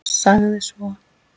Sagði svo